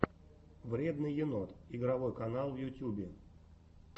вредный енот игровой канал в ютюбе